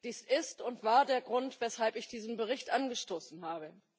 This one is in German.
Dies ist und war der Grund, weshalb ich diesen Bericht angestoßen habe.